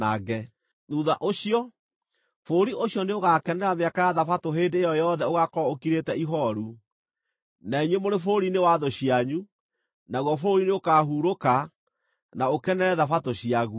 Thuutha ũcio, bũrũri ũcio nĩũgakenera mĩaka ya Thabatũ hĩndĩ ĩyo yothe ũgaakorwo ũkirĩte ihooru, na inyuĩ mũrĩ bũrũri-inĩ wa thũ cianyu; naguo bũrũri nĩũkahurũka, na ũkenere thabatũ ciaguo.